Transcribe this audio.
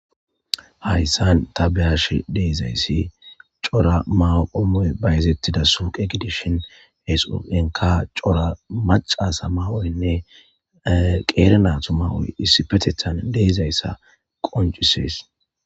Hayssan ta beyash de7izayssi cora mawo ommoy bayzettida suqe gidishon he suuqenkka cora macasa mawoyynne qeere nato mawoy issipetethan deizayssa qoncisees.